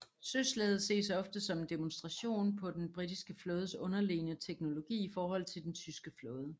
Søslaget ses ofte som en demonstration på den britiske flådes underlegne teknologi i forhold til den tyske flåde